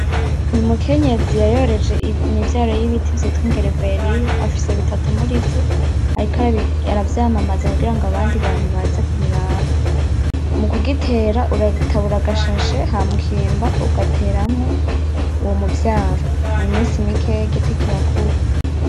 Umukenyezi yayoreje imivyaro yibiti vyitwa igereveriyo afise bitatu murivyo ariko aravyamamaza kugirango abandi bantu baze kubiraba mukugitera uragitabura agashashe hama ukimba ugateramwo uwo muvyaro mu minsi mikeya igiti kirakura.